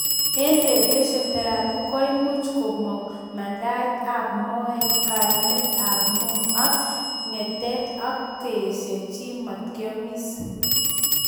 Eng radiation therapy koimuch komung mandaet ab maet kaimet ab moo ak ngetatet ak kasee chii matakyamis